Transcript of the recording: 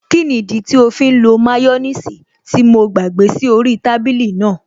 Kí nìdí tí ó fí ń lo máyọ́nìsì tí mo gbàgbé sí orí í tábìlì náà?